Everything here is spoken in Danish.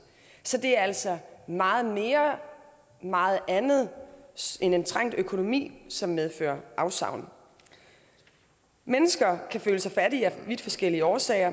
så det er altså meget mere og meget andet end en trængt økonomi som medfører afsavn mennesker kan føle sig fattige af vidt forskellige årsager